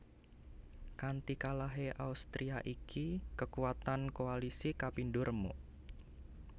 Kanti kalahé Austria iki kekuatan koalisi kapindo remuk